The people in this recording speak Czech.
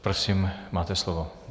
Prosím, máte slovo.